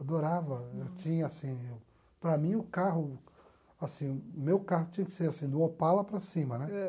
Adorava, eu tinha assim, para mim o carro, assim, meu carro tinha que ser assim, do Opala para cima, né? Ãh